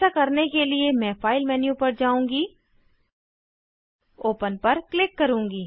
ऐसा करने के लिए मैं फाइल मेन्यू पर जाऊँगी ओपन पर क्लिक करूँगी